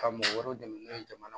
Ka mɔgɔ wɛrɛw dɛmɛ n'o ye jamana